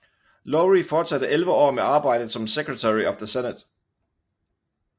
Lowrie fortsatte elleve år med arbejdet som Secretary of the Senate